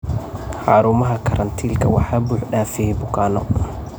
Xarumaha karantiilka waxaa buux dhaafiyay bukaanno.